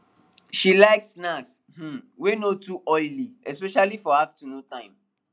she like snacks um wey no too oily especially for afternoon time